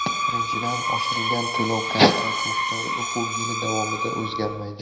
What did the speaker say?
Birinchidan, oshirilgan to‘lov-kontrakt miqdori o‘quv yili davomida o‘zgarmaydi.